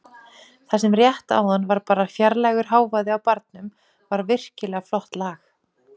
Það sem rétt áðan var bara fjarlægur hávaði á barnum var virkilega flott lag.